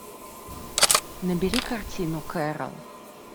набери картину кэрол